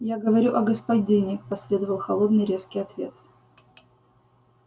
я говорю о господине последовал холодный резкий ответ